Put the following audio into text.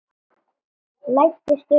Læddist um á tánum.